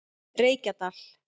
Reykjadal